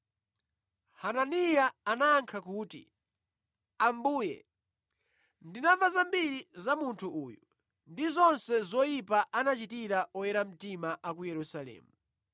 Hananiya anayankha kuti, “Ambuye, ndinamva zambiri za munthu uyu ndi zonse zoyipa anachitira oyera mtima a ku Yerusalemu.